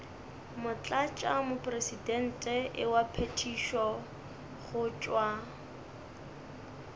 motlatšamopresidente wa phethišo go tšwa